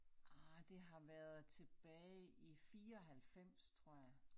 Ah det har været tilbage i 94 tror jeg